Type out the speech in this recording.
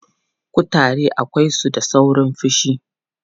Kutare akwai su da saurin haushi.